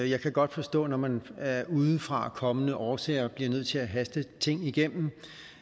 jeg kan godt forstå når man af udefrakommende årsager bliver nødt til at haste ting igennem